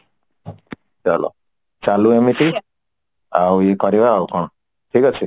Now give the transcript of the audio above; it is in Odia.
ଭଲ ଚାଲୁ ଏମିତି ଆଉ କରିବା ଆଉ କଣ ଠିକ ଅଛି